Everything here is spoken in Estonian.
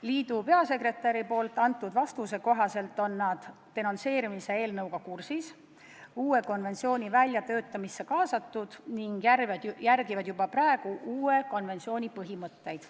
Liidu peasekretäri vastuse kohaselt on nad denonsseerimise eelnõuga kursis, uue konventsiooni väljatöötamisse kaasatud ning järgivad juba praegu uue konventsiooni põhimõtteid.